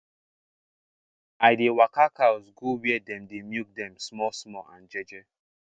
i dey waka cows go where dem dey milk dem small small and jeje